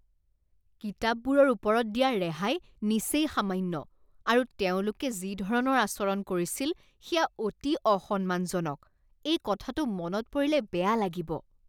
কিতাপবোৰৰ ওপৰত দিয়া ৰেহাই নিচেই সামান্য আৰু তেওঁলোকে যি ধৰণৰ আচৰণ কৰিছিল সেয়া অতি অসন্মানজনক। এই কথাটো মনত পৰিলে বেয়া লাগিব।